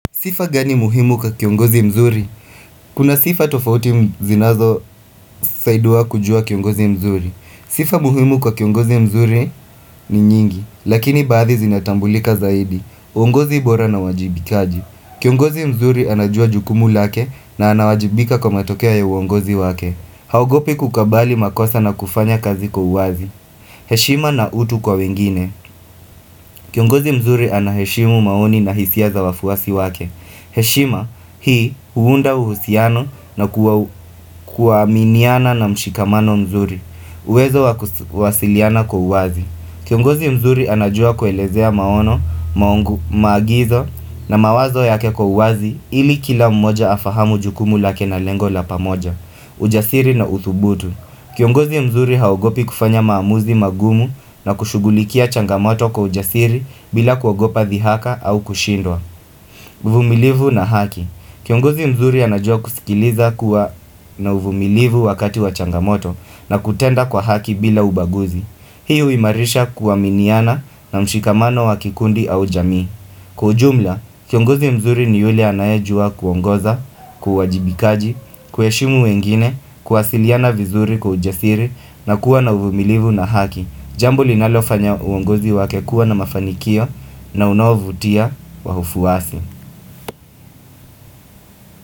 Sifa gani muhimu kwa kiongozi mzuri? Kuna sifa tofauti zinazo saiduwa kujua kiongozi mzuri. Sifa muhimu kwa kiongozi mzuri ni nyingi. Lakini baadhi zinatambulika zaidi. Uongozi bora na uwajibikaji. Kiongozi mzuri anajua jukumu lake na anawajibika kwa matokea ya uongozi wake. Haogopi kukabali makosa na kufanya kazi kwa uwazi. Heshima na utu kwa wengine. Kiongozi mzuri anaheshimu maoni na hisia za wafuasi wake. Heshima hii huunda uhusiano na kuaminiana na mshikamano mzuri uwezo wa kuwasiliana kwa uwazi Kiongozi mzuri anajua kuelezea maono,, maagizo na mawazo yake kwa uwazi ili kila mmoja afahamu jukumu lake na lengo la pamoja, ujasiri na uthubutu Kiongozi mzuri haugopi kufanya maamuzi magumu na kushugulikia changamoto kwa ujasiri bila kuagopa thihaka au kushindwa uvumilivu na haki Kiongozi mzuri anajua kusikiliza kuwa na uvumilivu wakati wachangamoto na kutenda kwa haki bila ubaguzi hiyo huimarisha kuaminiana na mshikamano wa kikundi au jamii Kwa ujumla, kiongozi mzuri ni yule anayejua kuongoza, kwa uwajibikaji, kuheshimu wengine, kuwasiliana vizuri kwa ujisiri na kuwa na uvumilivu na haki Jambo linalofanya uongozi wake kuwa na mafanikio na unaovutia wafuasi.